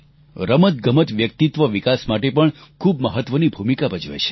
રમતગમત વ્યક્તિત્વ વિકાસ માટે પણ ખૂબ મહત્વની ભૂમિકા ભજવે છે